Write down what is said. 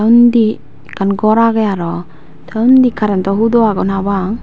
undi ekkan gor agey aro te undi karento hudo agon habang.